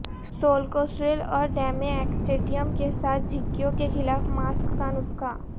سولکوسریل اور ڈیمی ایکسڈیم کے ساتھ جھککیوں کے خلاف ماسک کا نسخہ